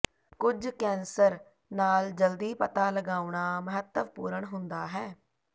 ਕੁਝ ਕੈਂਸਰ ਨਾਲ ਜਲਦੀ ਪਤਾ ਲਗਾਉਣਾ ਮਹੱਤਵਪੂਰਣ ਹੁੰਦਾ ਹੈ